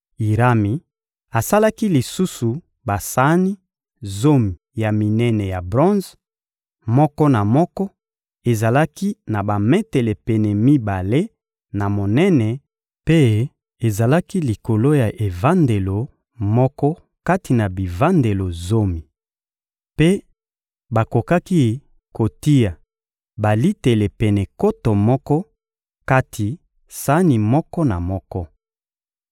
Irami asalaki lisusu basani zomi ya minene ya bronze; moko na moko ezalaki na bametele pene mibale na monene mpe ezalaki likolo ya evandelo moko kati na bivandelo zomi. Mpe bakokaki kotia balitele pene nkoto moko kati sani moko na moko.